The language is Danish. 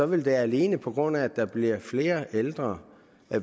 vil der alene på grund af at der bliver flere ældre